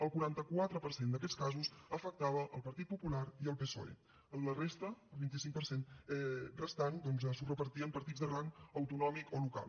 el quaranta quatre per cent d’aquests casos afectava el partit popular i el psoe la resta el vint cinc per cent restant doncs s’ho repartien partits de rang autonòmic o local